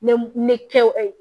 Ne ne kɛw